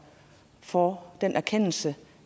for den erkendelse